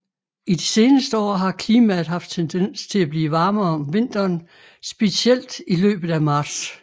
I de seneste år har klimaet haft tendens til at blive varmere om vinteren specielt i løbet af marts